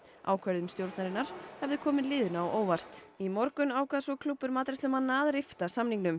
ákvörðun stjórnarinnar hefði komið liðinu á óvart í morgun ákvað svo klúbbur matreiðslumanna að rifta samningnum